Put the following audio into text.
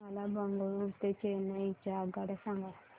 मला बंगळुरू ते चेन्नई च्या आगगाड्या सांगा